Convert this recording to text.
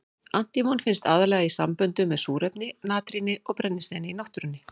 Antímon finnst aðallega í samböndum með súrefni, natríni og brennisteini í náttúrunni.